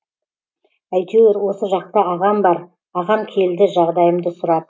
әйтеуір осы жақта ағам бар ағам келді жағдайымды сұрап